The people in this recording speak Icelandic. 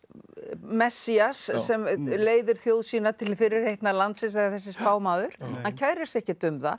Messías sem leiðir þjóð sína til fyrirheitna landsins eða þessi spámaður hann kærir sig ekkert um það